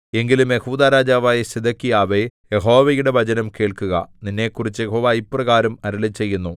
എങ്കിലും യെഹൂദാ രാജാവായ സിദെക്കീയാവേ യഹോവയുടെ വചനം കേൾക്കുക നിന്നെക്കുറിച്ച് യഹോവ ഇപ്രകാരം അരുളിച്ചെയ്യുന്നു